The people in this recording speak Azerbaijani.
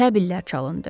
Təbillər çalındı.